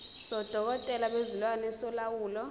sodokotela bezilwane solawulo